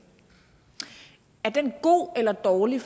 god eller dårlig